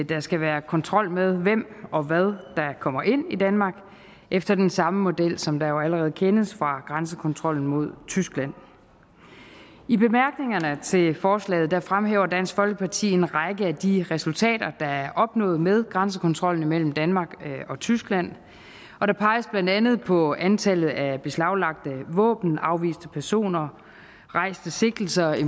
der skal være kontrol med hvem og hvad der kommer ind i danmark efter den samme model som der jo allerede kendes fra grænsekontrollen mod tyskland i bemærkningerne til forslaget fremhæver dansk folkeparti en række af de resultater der er opnået med grænsekontrollen imellem danmark og tyskland og der peges blandt andet på antallet af beslaglagte våben afviste personer rejste sigtelser i